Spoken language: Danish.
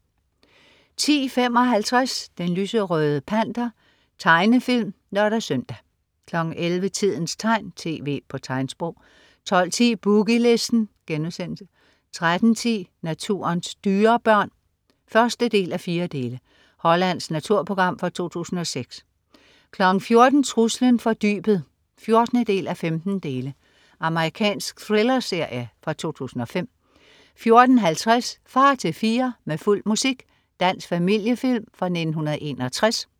10.55 Den lyserøde Panter. Tegnefilm (lør-søn) 11.00 Tidens tegn, tv på tegnsprog 12.10 Boogie Listen* 13.10 Naturens dyrebørn 1:4. Hollandsk naturprogram fra 2006 14.00 Truslen fra dybet 14:15. Amerikansk thrillerserie fra 2005 14.50 Far til fire med fuld musik. Dansk familiefilm fra 1961